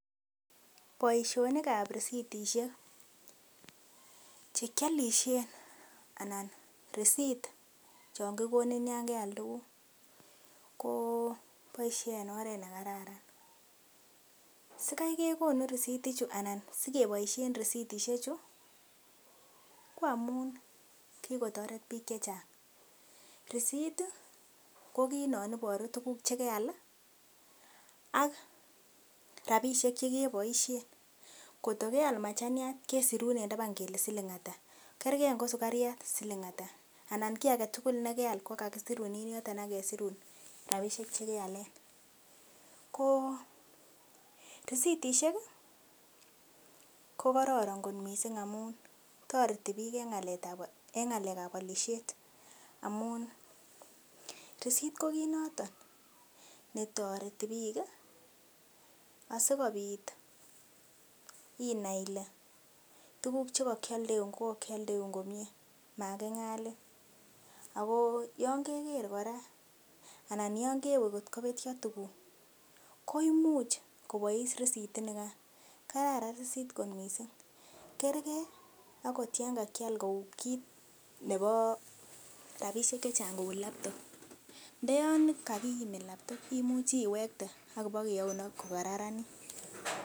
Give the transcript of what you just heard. Boisionik ab risitishek che kiolishen anan risit chon kigonin yon keal tuguk, ko boisie en oret ne kararan. Sikai kegonu anan sikeboisien ristisheju ko amun kigotoret biik che chang. Risit ko kiit non iboru tuguk che keyai ak rabishek che keboishen, kotko keal machaniat kesirun en taban kele siling ata kerke ngo sugariat siling ata anan kokiy age tugul ne keal ko kagisirun en yoton ak kesirun rabishek che kealen ko ristishek ko kororon kot mising amun toreti biik en ngalekab olisiet amun risit ko kiit noton netoreti biik asikobit inai ile tuguk che kokioldeun, ko kyoldeun komye maging'alin. Ago yon ke ker kora anan yon kewe kotko betyo tuguk koimuch kobois risit inikan. Kararan risit kot mising. Kerge agot yon kakyal kou kit nebo rabishek che chang kou laptop ndo yon kagiimit laptop imuchi iwekte ak ibokeyaun agot ko kararanit.